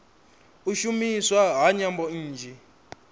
u shumiswa ha nyambo nnzhi